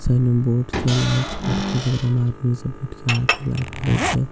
side मे boat छै लाल कलर के जेकरा मे आदमी सब बइठ के हाथ हिलावए छै उ --